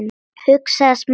hugsaði Smári.